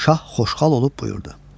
Şah xoşhal olub buyurdu.